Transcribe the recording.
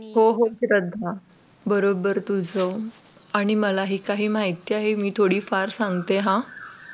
हो हो श्रद्धा बरोबर तुझं आणि मला आणि मलाही काही माहिती आहे मी थोडीफार सांगते हा